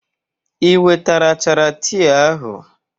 I wetara achara tii ahụ?